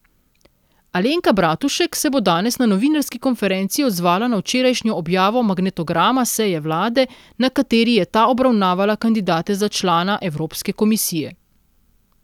Alenka Bratušek se bo danes na novinarski konferenci odzvala na včerajšnjo objavo magnetograma seje vlade, na kateri je ta obravnavala kandidate za člana Evropske komisije.